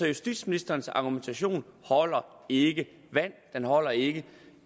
justitsministerens argumentation holder ikke vand den holder ikke